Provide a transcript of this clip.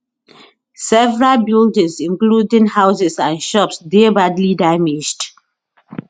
several buildings including houses and shops dey badly damaged